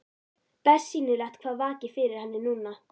Bersýnilegt hvað vakir fyrir henni núna.